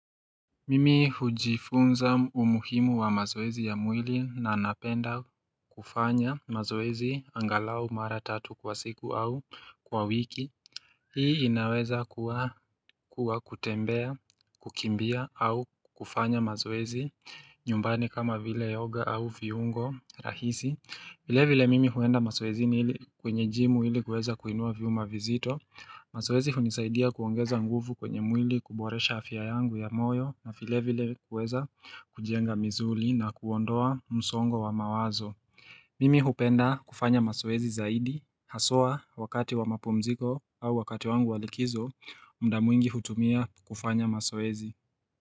Mimi hujifunza umuhimu wa mazoezi ya mwili na anapenda kufanya mazoezi angalau mara tatu kwa siku au kwa wiki Hii inaweza kuwa kutembea, kukimbia au kufanya mazoezi nyumbani kama vile yoga au viungo rahisi vile vile mimi huenda mazoezi ni ili kwenye jimu ili kweza kuinua viuma vizito mazoezi hunisaidia kuongeza nguvu kwenye mwili kuboresha afya yangu ya moyo na filevile kuweza kujienga mzuli na kuondoa msongo wa mawazo Mimi hupenda kufanya masoezi zaidi hasoa wakati wa mapumziko au wakati wangu walikizo mdamuingi hutumia kufanya masoezi.